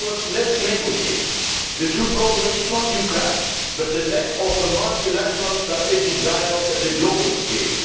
In other words, let us negotiate. The true problem is not Ukraine but the lack of multilateral strategic dialogue on a global scale.